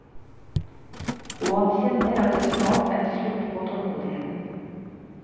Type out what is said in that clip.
Og han kjenner at det snart er slutt på tålmodigheten.